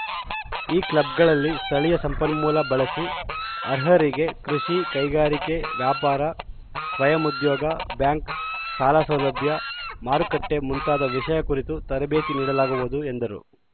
ಈ ಕ್ಲಬ್‌ಗಳಲ್ಲಿ ಸ್ಥಳೀಯ ಸಂಪನ್ಮೂಲ ಬಳಸಿ ಅರ್ಹರಿಗೆ ಕೃಷಿ ಕೈಗಾರಿಕೆ ವ್ಯಾಪಾರ ಸ್ವಯಂ ಉದ್ಯೋಗ ಬ್ಯಾಂಕ್‌ ಸಾಲಸೌಲಭ್ಯ ಮಾರುಕಟ್ಟೆಮುಂತಾದ ವಿಷಯ ಕುರಿತು ತರಬೇತಿ ನೀಡಲಾಗುವುದು ಎಂದರು